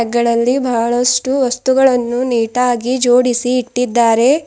ಗಳಲ್ಲಿ ಬಹಳಷ್ಟು ವಸ್ತುಗಳನ್ನು ನೀಟಾಗಿ ಜೋಡಿಸಿ ಇಟ್ಟಿದ್ದಾರೆ.